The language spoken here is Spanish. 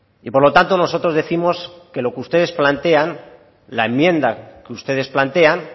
y por lo tanto nosotros décimos que lo que ustedes plantean la enmienda que ustedes plantean